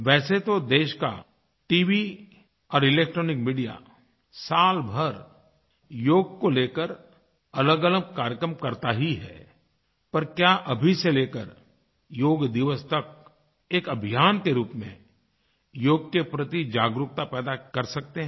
वैसे तो देश का टीवी और इलेक्ट्रॉनिक मीडिया सालभर योग को लेकर अलगअलग कार्यक्रम करता ही है पर क्या अभी से लेकर योग दिवस तक एक अभियान के रूप में योग के प्रति जागरूकता पैदा कर सकते हैं